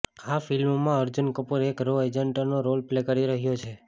આ ફિલ્મમાં અર્જુન કપૂર એક રો એજન્ટનો રોલ પ્લે કરી રહ્યો છે